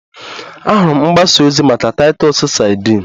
Ahụrụ m mgbasa ozi maka Titus sadin